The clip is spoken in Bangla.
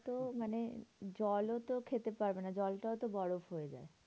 ওরা তো মানে জলও তো খেতে পারবে না। জল টাও তো বরফ হয়ে যায়।